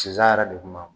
Sisan yɛrɛ de kun b'a